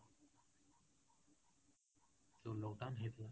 ଯୋଉ lockdown ହେଇଥିଲା,